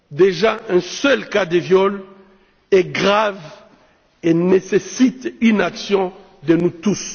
Déjà, un seul cas de viol est grave et nécessite une action de tous.